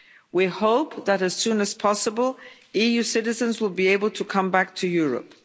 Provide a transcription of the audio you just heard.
We hope that as soon as possible, EU citizens will be able to come back to Europe.